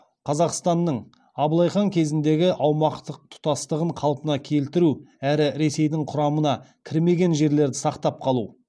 қазақстанның абылай хан кезіндегі аумақтық тұтастығын қалпына келтіру әрі ресейдің құрамына кірмеген жерлерді сақтап қалу